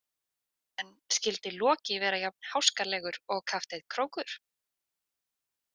En skyldi Loki vera jafn háskalegur og kafteinn Krókur?